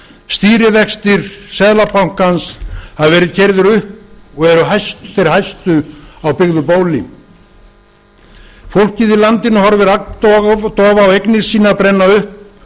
stýrivexti seðlabankans hafa verið keyrðir upp og eru þeir hæstu á byggðu bóli fólkið í landinu horfir agndofa á eignir sínar brenna upp